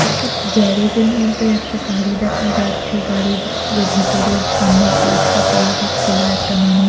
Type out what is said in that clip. একটা গ্যারাজের মধ্যে একটা গাড়ি দেখা যাচ্ছে গাড়ির যে ভেতরের সামনের পার্টটা পুরোটা খোলা একটা মানু--